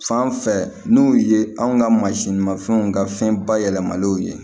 Fan fɛ n'u ye anw ka mansinmafɛnw ka fɛn bayɛlɛmalenw ye